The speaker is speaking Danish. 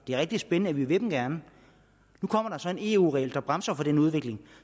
det er rigtig spændende og vi vil dem gerne nu kommer der så en eu regel der bremser den udvikling